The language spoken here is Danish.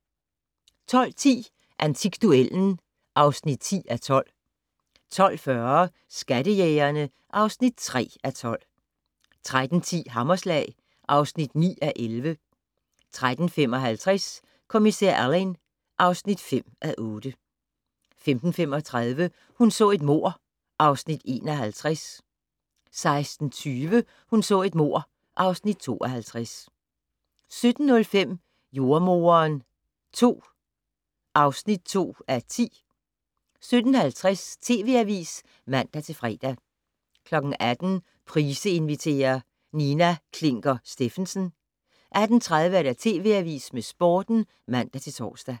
12:10: Antikduellen (10:12) 12:40: Skattejægerne (3:12) 13:10: Hammerslag (9:11) 13:55: Kommissær Alleyn (5:8) 15:35: Hun så et mord (Afs. 51) 16:20: Hun så et mord (Afs. 52) 17:05: Jordemoderen II (2:10) 17:50: TV Avisen (man-fre) 18:00: Price inviterer - Nina Klinker Stephensen 18:30: TV Avisen med Sporten (man-tor)